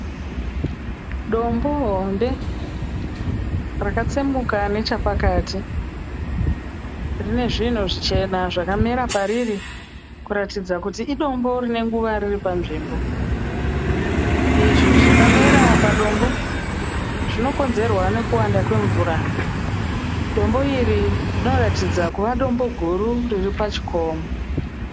Dombo hombe rakatsemuka nechepakati. Rine zvinhu zvichena zvakamera pariri kuratidza kuti idombo rine nguva riri panzvimbo. Izvi zvakamera padombo zvinokonzerwa nekuwanda kwemvura. Dombo iri rinoratidza kuva dombo guru riri pachikomo.